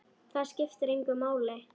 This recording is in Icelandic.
Það skiptir engu máli.